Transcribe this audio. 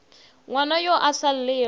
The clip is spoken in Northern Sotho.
ngwana yo a sa llego